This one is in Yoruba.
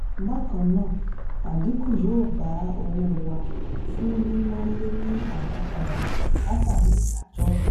bákannáà adinku yó bá owó wà fún níná le ni adapada látàrí ìdájọ.